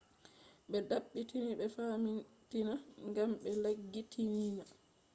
be dabbiti e famtina gam be laggitiina